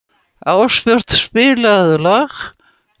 Ástbjört, spilaðu lag.